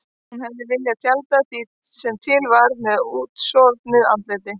Hún hefði viljað tjalda því sem til var með útsofnu andliti.